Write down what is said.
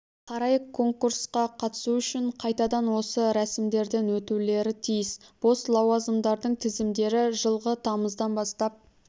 қарай конкурсқа қатысу үшін қайтадан осы рәсімдерден өтулері тиіс бос лауазымдардың тізімдері жылғы тамыздан бастап